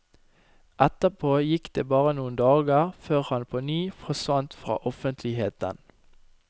Etterpå gikk det bare noen dager før han på ny forsvant fra offentligheten.